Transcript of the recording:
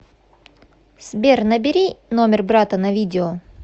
сбер набери номер брата на видео